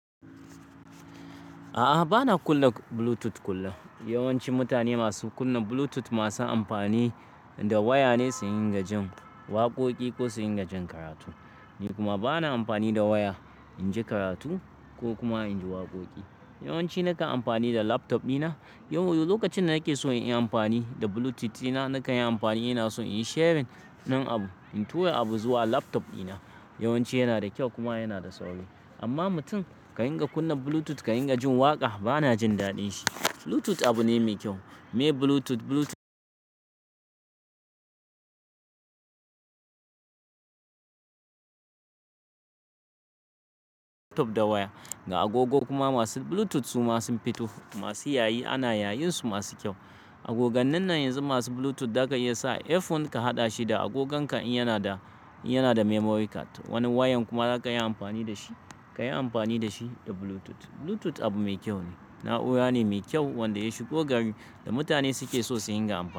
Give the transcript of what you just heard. A'a, ba na kunna Bluetooth kullum. Yawanci mutane masu kunna Bluetooth masu amfani da waya ne suyi ingajin waƙoƙi ko suyi ingajin karatu. Ni kuma ba na amfani da waya in ji karatu ko kuma in ji waƙoƙi. Yawanci nakan amfani da laptop dina. Lokacin da nake so in yi amfani da Bluetooth dina, nakan yi amfani. Ina so in yi sharing ɗin abu, in tura abu zuwa laptop dina. Yawanci yana da kyau kuma yana da sauƙi, amma mutum ka dinga kunna Bluetooth ka dinga jin waƙa, ba na jin daɗin shi. Bluetooth abu ne mai kyau, me Bluetooth, Bluetooth da waya. Ga agogo kuma masu Bluetooth su ma sun fito. Masu yayi ana yayin su masu kyau. Agogan nan na yanzu masu Bluetooth, zaka iya sa headphone ka haɗa shi da agogonka in yana da, yana da memory card. Wannan wayan kuma za ka yi amfani da shi, ka yi amfani da shi da Bluetooth. Bluetooth abu mai kyau ne, na'ura ne mai kyau wanda ya shigo gari da mutane suke so suyi inga amfani.